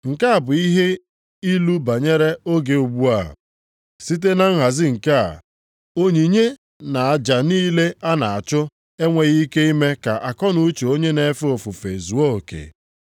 Nke a bụ ihe ilu banyere oge ugbu a. Site na nhazi nke a, onyinye na aja niile a na-achụ enweghị ike ime ka akọnuche onye na-efe ofufe zuo oke.